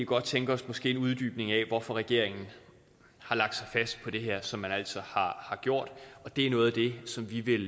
godt tænke os en uddybning af hvorfor regeringen har lagt sig fast på det her som man altså har gjort det er noget af det som vi vil